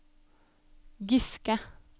Giske